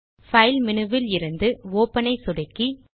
file menu விலிருந்து open ஐ சொடுக்கி